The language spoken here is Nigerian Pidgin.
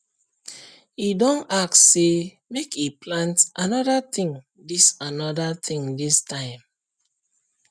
he don ask say make he plant another thing this another thing this time